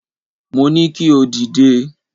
Mo ní kí o dìde.